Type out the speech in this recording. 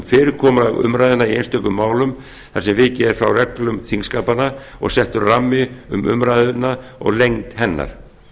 fyrirkomulag umræðna í einstökum málum þar sem vikið er frá reglum þingskapanna og settur rammi um umræðuna og lengd hennar